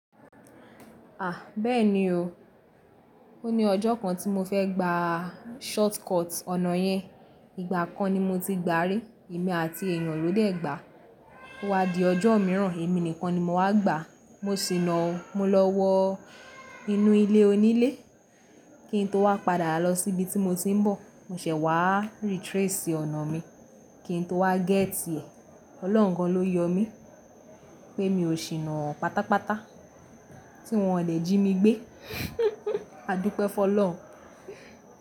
A! Bẹ́ẹ̀ni o, o ní ọjọ́ kan tí mo fẹ́ gba shortcut ọ̀nà yẹn. Ìgbà kan ni mo ti gbá rí, èmi àti èèyàn lọ́dẹ́ gbà á. Ó wá di ọjọ́ mìíràn, èmi nìkan ni mo wá gbà á. Mo sì naa o mo lọ́wọ inú ilé onílé kí n tó wá padà lọ sí ibi tí mo ti ń bọ̀. Mo ṣẹ̀ wá retrace ọ̀nà mi kí n tó wá gẹ́tì ẹ. Ọlọ́run gan lọ yọ mí pé mi ò ṣì ná pátápátá tí wọ́n le jí mi gbé. Adúpẹ́ fọ́ lọun.